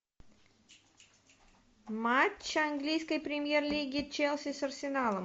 матч английской премьер лиги челси с арсеналом